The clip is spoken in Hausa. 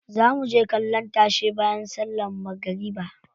Za muje kallon tashe bayan sallan magariba.